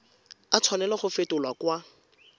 a tshwanela go fetolwa kwa